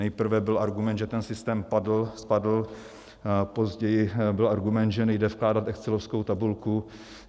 Nejprve byl argument, že ten systém spadl, později byl argument, že nejde vkládat excelovskou tabulku.